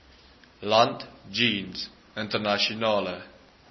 land jeens internasionale